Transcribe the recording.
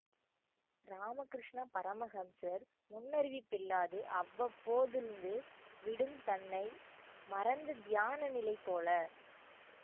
ராமக்ரிஷ்ண பரமஹம்சர் முன்னறிவிப்பில்லாது அவ்வப்போது ழ்ந்து விடும் தன்னை மறந்த தியான நிலை போல